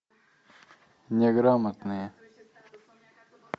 неграмотные